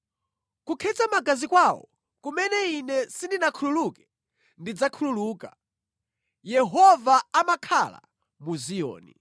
Kukhetsa magazi kwawo kumene Ine sindinakhululuke ndidzakhululuka.” Yehova amakhala mu Ziyoni!